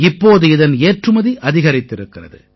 இப்போது இதன் ஏற்றுமதி அதிகரித்திருக்கிறது